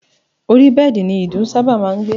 Ori bẹ́ẹ̀dì ni ìdun sábà máa ń gbé